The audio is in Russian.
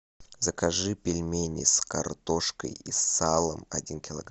закажи пельмени с картошкой и салом один килограмм